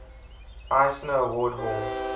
eisner award hall